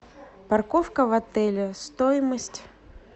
парковка в отеле стоимость